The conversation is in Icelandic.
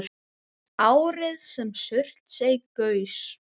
Árið sem Surtsey gaus.